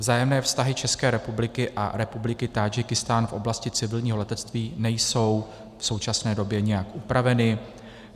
Vzájemné vztahy České republiky a Republiky Tádžikistán v oblasti civilního letectví nejsou v současné době nijak upraveny.